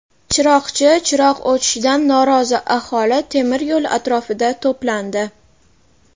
Chiroqchi chiroq o‘chishidan norozi aholi temiryo‘l atrofida to‘plandi.